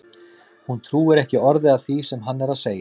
Hún trúir ekki orði af því sem hann er að segja!